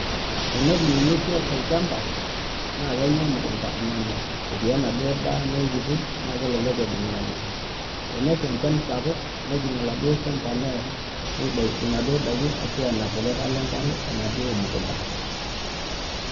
Tenejing ngwesi olchamba na kenya emukunda nemut eti enaduo daa kiti na kelelek ejing nemut tensha enchan sapuk nejing oladuo shamba near nidakie ndakini arashu enap enkare enaduo mukunda.